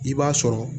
I b'a sɔrɔ